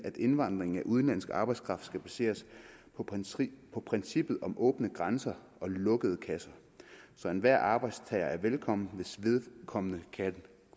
at indvandringen af udenlandsk arbejdskraft baseres på princippet om åbne grænser lukkede kasser så enhver arbejdstager er velkommen hvis vedkommende kan